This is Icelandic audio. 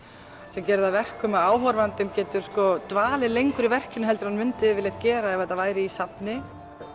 sem gerir það að verkum að áhorfandinn getur dvalið lengur í verkinu heldur en hann myndi yfirleitt gera ef þetta væri í safni